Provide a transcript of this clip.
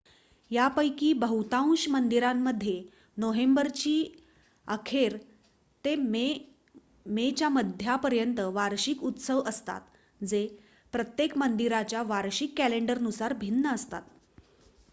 यापैकी बहुतांश मंदिरांमध्ये नोव्हेंबरची अखेर ते मेच्या मध्यापर्यंत वार्षिक उत्सव असतात जे प्रत्येक मंदिराच्या वार्षिक कॅलेंडरनुसार भिन्न असतात